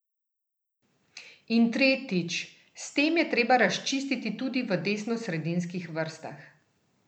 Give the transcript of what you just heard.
In tretjič, s tem je treba razčistiti tudi v desnosredinskih vrstah.